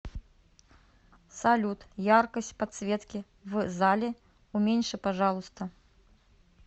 салют яркость подсветки в зале уменьши пожалуйста